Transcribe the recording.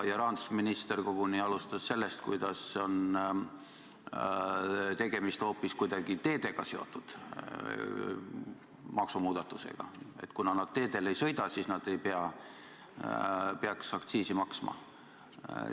Rahandusminister koguni alustas sellest, kuidas tegemist on hoopis kuidagi teedega seotud maksumuudatusega, et kuna nad teedel ei sõida, siis nad ei peaks aktsiisi maksma.